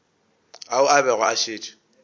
ao a bego a šetše